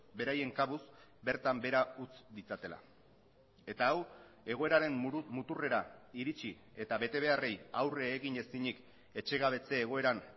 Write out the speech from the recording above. beraien kabuz bertan behera utz ditzatela eta hau egoeraren muturrera iritsi eta betebeharrei aurre egin ezinik etxegabetze egoeran